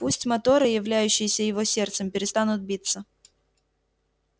пусть моторы являющиеся его сердцем перестанут биться